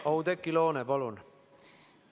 Oudekki Loone, palun!